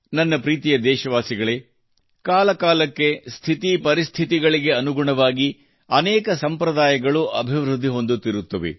ನನ್ನ ಪ್ರೀತಿಯ ದೇಶವಾಸಿಗಳೇ ಕಾಲಕಾಲಕ್ಕೆ ಸ್ಥಿತಿಪರಿಸ್ಥಿತಿಗಳಿಗೆ ಅನುಗುಣವಾಗಿ ಅನೇಕ ಸಂಪ್ರದಾಯಗಳು ಅಭಿವೃದ್ಧಿ ಹೊಂದುತ್ತಿರುತ್ತವೆ